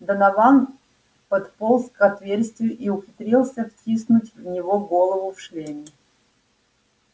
донован подполз к отверстию и ухитрился втиснуть в него голову в шлеме